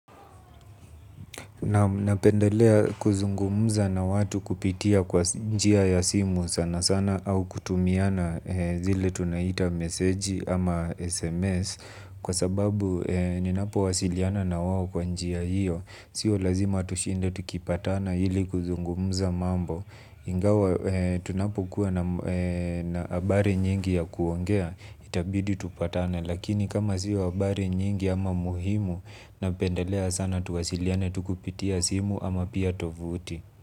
Napendelea kuzungumuza na watu kupitia kwa njia ya simu sana sana au kutumiana zile tunaita meseji ama SMS kwa sababu ninapo wasiliana na wao kwa njia hiyo. Sio lazima tushinde tukipatana ili kuzungumza mambo ingawa tunapo kuwa na habari nyingi ya kuongea itabidi tupatane. Lakini kama sio habari nyingi ama muhimu napendelea sana tuwasiliane tu kupitia simu ama pia tovuti.